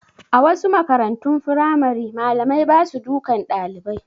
A wasu makarantun firamare malamai ba su dukan ɗalibai